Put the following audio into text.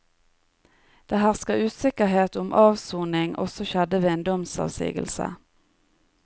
Det hersker usikkerhet om avsonig også skjedde ved en domsavsigelse.